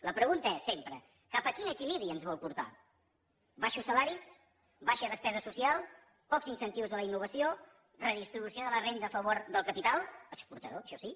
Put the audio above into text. la pregunta és sempre cap a quin equilibri ens vol portar baixos salaris baixa despesa social pocs incentius a la innovació redistribució de la renda a favor del capital exportador això sí